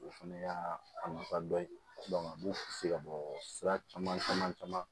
O fana y'a nafa dɔ ye a b'u se ka bɔ sira caman caman caman